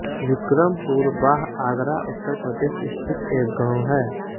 विक्रमपुर बाह आगरा उत्तर प्रदेश स्थित एक गाँव है